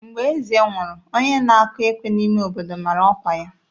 Mgbe eze nwụrụ, onye na-akụ ekwe n'ime obodo mara ọkwa ya.